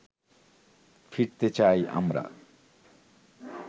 ফিরতে চাই আমরা